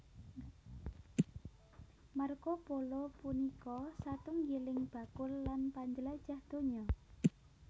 Marco Polo punika satunggiling bakul lan panjlajah donya